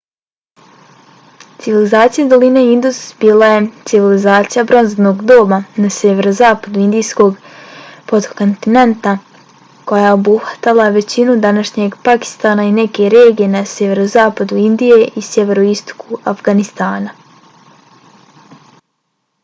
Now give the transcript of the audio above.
civilizacija doline indus bila je civilizacija bronzanog doba na sjeverozapadu indijskog potkontinenta koja je obuhvatala većinu današnjeg pakistana i neke regije na sjeverozapadu indije i sjeveroistoku afganistana